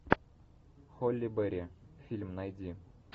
холли берри фильм найди